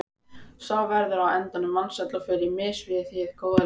Sá verður á endanum vansæll og fer á mis við hið góða líf.